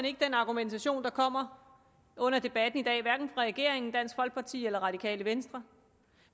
ikke den argumentation der kommer under debatten i dag hverken fra regeringen dansk folkeparti eller radikale venstre